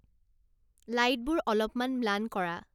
লাইটবোৰ অলপমান ম্লান কৰা